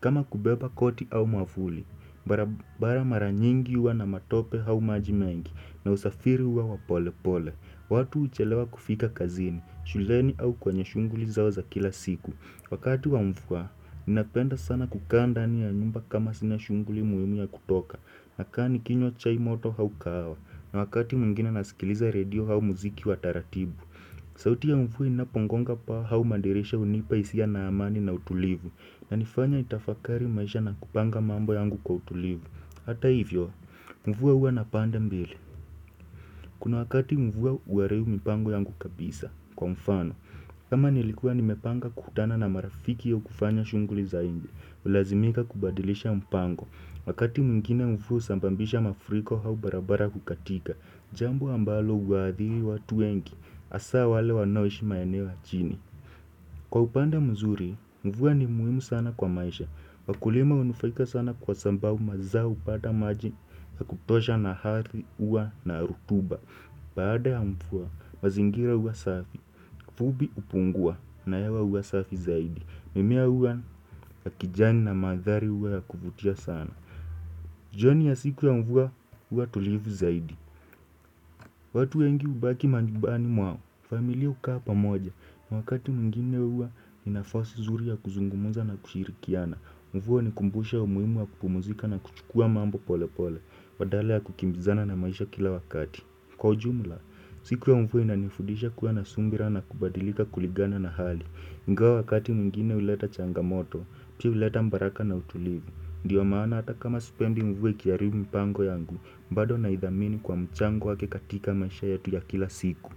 Kama kubeba koti au mwafuli, barabara mara nyingi uwa na matope hau maji mengi na usafiri huwa wa polepole, watu huchelewa kufika kazini, shuleni au kwenye shunguli zao za kila siku. Wakati wa mfua, ninapenda sana kukaandani ya nyumba kama sina shunguli muimu ya kutoka, nakaa nikinywa chai moto hau kahawa, na wakati mwingine nasikiliza redio hau muziki wa taratibu. Sauti ya mfua inapongonga paa hau madirisha hunipa isia na amani na utulivu Yanifanya nitafakari maisha na kupanga mambo yangu kwa utulivu Hata hivyo, mfua uwa na pande mbili Kuna wakati mvua uharibu mipango yangu kabisa, kwa mfano kama nilikuwa nimepanga kukutana na marafiki au kufanya shunguli za inje Ulazimika kubadilisha mpango Wakati mwingine mfua husambambisha mafuriko hau barabara kukatika Jambo ambalo uhaadhiri watu wengi Asa wale wanaoishi maeneo ya chini Kwa upande mzuri, mvua ni muhimu sana kwa maisha Wakulima unufaika sana kwa sambavu mazao hupada maji ya kutosha na athi uwa na rutuba baada ya mvuwa, mazingira uwa safi Fubi upungua na hewa uwa safi zaidi mimea uwa ya kijani na mandhari uwa ya kuvutia sana jioni ya siku ya mvua, uwa tulivu zaidi watu wengi ubaki manjubani mwao familia hukaa pamoja. Wakati mwingine uwa ni nafasi zuri ya kuzungumuza na kushirikiana. Mvua hunikumbusha umuimu wa kupumuzika na kuchukua mambo pole pole. Badala ya kukimbizana na maisha kila wakati. Kwa ujumula, siku ya mvua inanifundisha kuwa na sumbira na kubadilika kuligana na hali. Ingawa wakati mwingine huleta changamoto, pia uleta mbaraka na utulivu. Ndiyo maana hata kama sipendi mvuwa ikiaribu mpango yangu, mbado naidhamini kwa mchango wake katika maisha yetu ya kila siku.